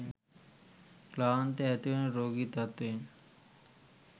ක්ලාන්තය ඇතිවන රෝගී තත්වයෙන්